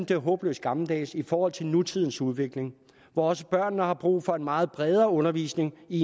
det er håbløst gammeldags i forhold til nutidens udvikling hvor også børnene har brug for en meget bredere undervisning i